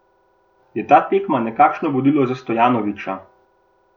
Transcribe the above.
Je ta tekma nekakšno vodilo za Stojanovića?